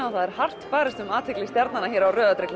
og það er hart barist um athygli stjarnanna hér á rauða